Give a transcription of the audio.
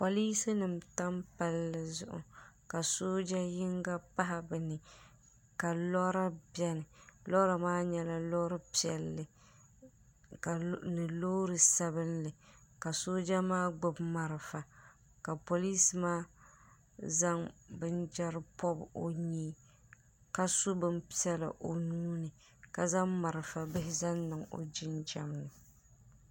Polinsi nima n tam palli zuɣu ka sooja yinga pahi bɛ ni ka lora biɛni lora maa nyɛla lora piɛli ni loori sabinli ka sooja maa gbibi marafa ka polinsi maa zaŋ binchera bobi o nyee ka so bin piɛla o nuuni ka zaŋ marafa bihi zaŋ niŋ o jinjiɛm ni.